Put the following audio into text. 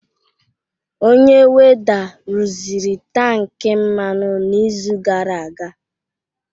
Onye welder rụziri tankị mmanụ n'izu gara aga